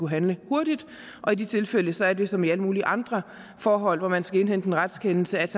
handle hurtigt og i de tilfælde sådan som i alle mulige andre forhold hvor man skal indhente en retskendelse at